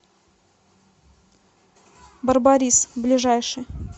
барбарис ближайший